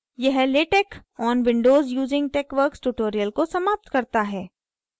यह latex on windows using texworks tutorial को समाप्त करता है